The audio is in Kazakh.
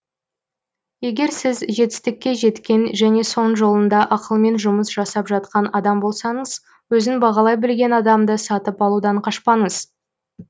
егер сіз жетістікке жеткен және соның жолында ақылмен жұмыс жасап жатқан адам болсаңыз өзін бағалай білген адамды сатып алудан қашпаңыз